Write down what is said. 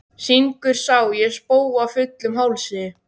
Syngur Sá ég spóa fullum hálsi.